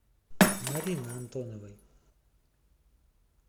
марины антоновой